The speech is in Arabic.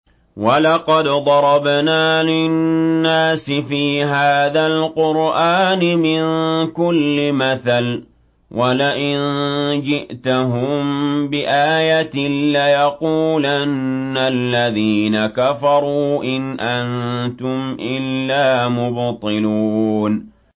وَلَقَدْ ضَرَبْنَا لِلنَّاسِ فِي هَٰذَا الْقُرْآنِ مِن كُلِّ مَثَلٍ ۚ وَلَئِن جِئْتَهُم بِآيَةٍ لَّيَقُولَنَّ الَّذِينَ كَفَرُوا إِنْ أَنتُمْ إِلَّا مُبْطِلُونَ